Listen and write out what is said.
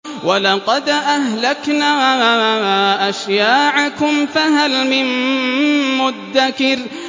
وَلَقَدْ أَهْلَكْنَا أَشْيَاعَكُمْ فَهَلْ مِن مُّدَّكِرٍ